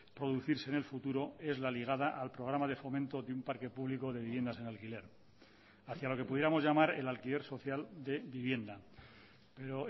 producirse en el futuro es la ligada al programa de fomento de un parque público de viviendas en alquiler hacia lo que pudiéramos llamar el alquiler social de vivienda pero